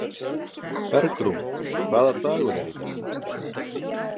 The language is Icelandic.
Bergrún, hvaða dagur er í dag?